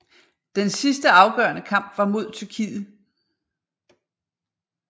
Den sidste afgørende kamp var mod Tyrkiet